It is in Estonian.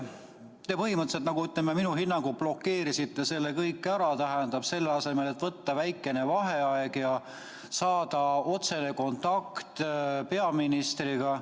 Te põhimõtteliselt minu hinnangul blokeerisite selle kõik ära, selle asemel, et võtta väikene vaheaeg ja saada otsene kontakt peaministriga.